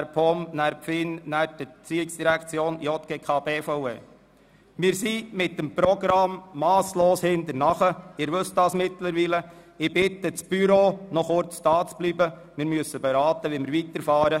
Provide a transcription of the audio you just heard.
Entschuldigt abwesend sind: Aeschlimann Martin, Berger Stefan, Blum Christine, Geissbühler-Strupler Sabina, Kohli Vania, Krähenbühl Samuel, Machado Rebmann Simone, Mentha Luc, Rudin Michel, Schneider Donat, Studer Peter, von Känel Christian.